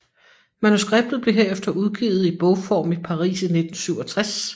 Manuskriptet blev herefter udgivet i bogform i Paris i 1967